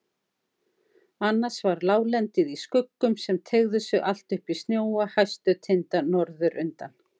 Annars var láglendið í skuggum sem teygðu sig allt upp í snjóa hæstu tinda norðurundan.